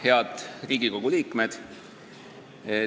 Head Riigikogu liikmed!